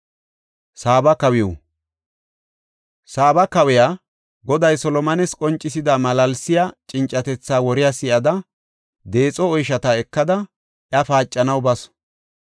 Saaba kawiya Goday Solomones qoncisida malaalsiya cincatetha woriya si7ada, deexo oyshata ekada iya paacanaw basu.